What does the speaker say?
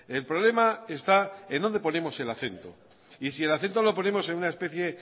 el problema está en dónde ponemos el acento y si el acento lo ponemos en una especie